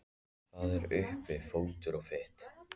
Það er uppi fótur og fit.